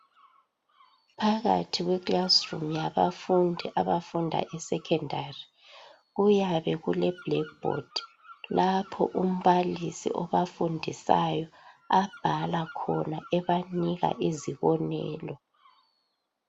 Phakathi kweclassroom yabafundi abafunda esecondary kuyabe kuleblackboard lapho umbalisi obafundisayo abhala khona ebanika izibonelo.